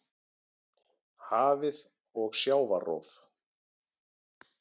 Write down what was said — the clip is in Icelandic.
Hafið og sjávarrof